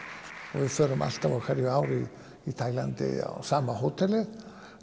og við förum alltaf á hverju ári til Taílands á sama hótelið